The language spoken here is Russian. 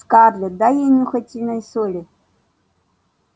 скарлетт дай ей нюхательные соли